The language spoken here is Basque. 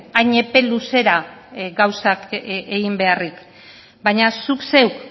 hain epe luzera gauzak egin beharrik baina zuk zeuk